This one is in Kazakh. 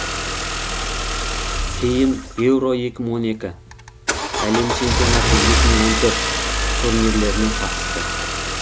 кейін еуро екі мың он екі әлем чемпионаты екі мың он төрт турнирлеріне қатысты